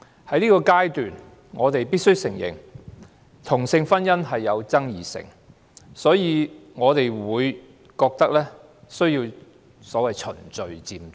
在現階段，我們必須承認同性婚姻具爭議性，所以我們覺得需要所謂循序漸進。